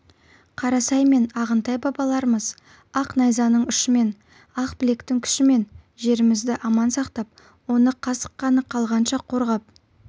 қарасай мен ағынтай бабаларымыз ақ найзаның ұшымен ақ білектің күшімен жерімізді аман сақтап оны қасық қаны қалғанша қорғап